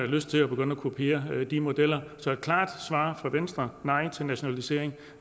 lyst til at begynde at kopiere de modeller så der er et klart svar fra venstre nej til nationalisering